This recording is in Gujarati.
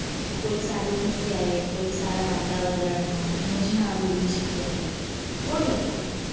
કોયક સારી જગ્યાએ કોયક સારા વાતાવરણ મજા આવે એવી જગ્યાએ ગોઠવીએ